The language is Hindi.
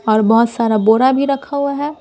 और बहुत सारा बोरा भी रखा हुआ है।